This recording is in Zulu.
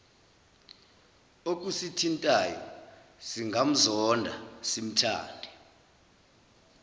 okusithintayo singamzonda simthande